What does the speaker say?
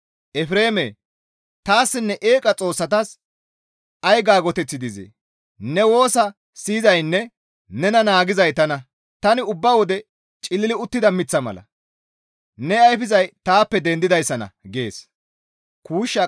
Efreemee! Taassinne eeqa xoossatas ay gaytoteththi dizee? Ne woosa siyizaynne nena naagizay tana; Tani ubba wode cilili uttida miththa mala; ne ayfizay taappe dendidayssanna» gees.